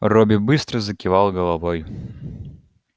робби быстро закивал головой